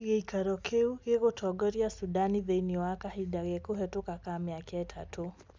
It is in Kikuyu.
Giikaro kiu gigutongoria Sudan thiinie wa kahinda ge kuhituka ka miaka itatũ.